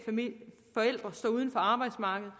forældre står uden for arbejdsmarkedet